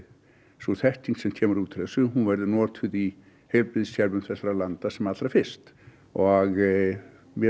sú þekking sem kemur út úr þessu verði notuð í heilbrigðiskerfum þessara landa sem allra fyrst og mér